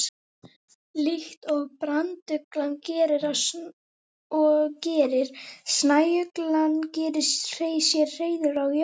líkt og branduglan gerir snæuglan sér hreiður á jörðinni